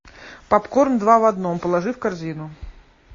попкорн два в одном положи в корзину